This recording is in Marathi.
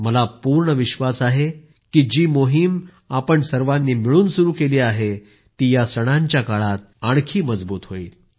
मला पूर्ण विश्वास आहे की जी मोहिम आपण सर्वांनी मिळून सुरू केली आहे ती या सणांच्या काळात आणखी मजबूत होईल